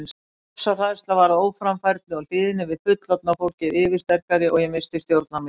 Ofsahræðsla varð óframfærni og hlýðni við fullorðna fólkið yfirsterkari og ég missti stjórn á mér.